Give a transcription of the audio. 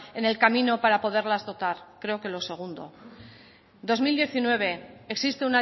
en el camino para poderlas dotar creo que lo segundo dos mil diecinueve existe